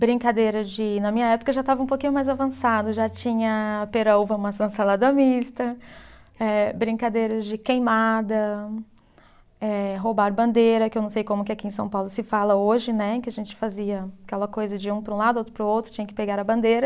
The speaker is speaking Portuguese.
Brincadeira de, na minha época já estava um pouquinho mais avançado, já tinha pera-uva-maçã-salada mista, eh brincadeiras de queimada, eh roubar bandeira, que eu não sei como que aqui em São Paulo se fala hoje, né, que a gente fazia aquela coisa de um para um lado, outro para o outro, tinha que pegar a bandeira.